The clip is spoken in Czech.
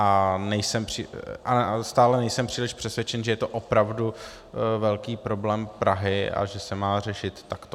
A stále nejsem příliš přesvědčen, že je to opravdu velký problém Prahy a že se má řešit takto.